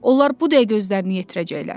Onlar bu dəqiqə özlərini yetirəcəklər.